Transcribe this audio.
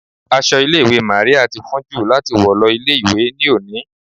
Aṣọ ilé ìwé Màríà ti fún jù fun láti wọ̀ lọ ilé ìwé ní òní.